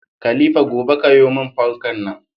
Khalifa gobe kayo mun fankar nan